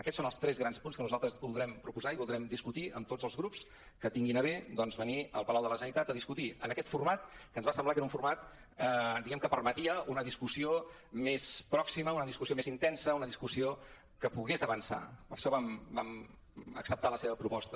aquests són els tres grans punts que nosaltres voldrem proposar i voldrem discutir amb tots els grups que tinguin a bé doncs venir al palau de la generalitat a discutir en aquest format que ens va semblar que era un format diguem ne que permetia una discussió més pròxima una discussió més intensa una discussió que pogués avançar per això vam acceptar la seva proposta